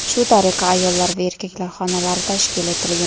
Shu tariqa ayollar va erkaklar xonalari tashkil etilgan.